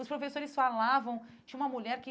Os professores falavam, tinha uma mulher que...